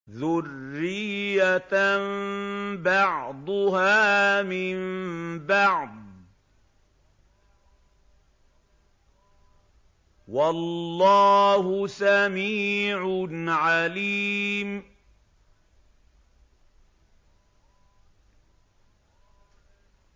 ذُرِّيَّةً بَعْضُهَا مِن بَعْضٍ ۗ وَاللَّهُ سَمِيعٌ عَلِيمٌ